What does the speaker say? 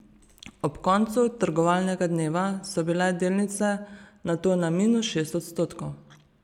Ob koncu trgovalnega dneva so bile delnice nato na minus šest odstotkov.